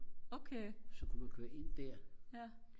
okay ja